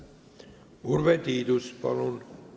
Urve Tiidus, palun!